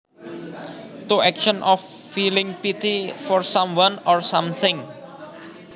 To action of feeling pity for someone or something